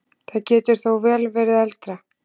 Það getur þó vel verið eldra.